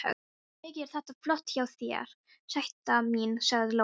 Mikið er þetta flott hjá þér, sæta mín, sagði Lóa.